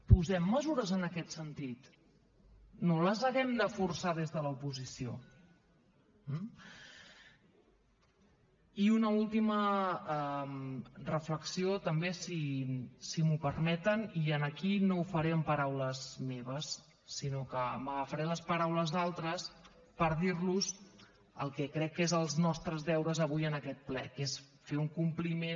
posem mesures en aquest sentit que no les hàgim de forçar des de l’oposició eh i una última reflexió també si m’ho permeten i aquí no ho faré amb paraules meves sinó que m’agafaré les paraules d’altres per dir los el que crec que són els nostres deures avui en aquest ple que és fer un compliment